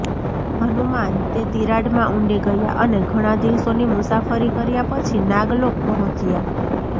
હનુમાન તે તિરાડમાં ઊંડે ગયા અને ઘણા દિવસોની મુસાફરી કર્યા પછી નાગલોક પહોંચ્યા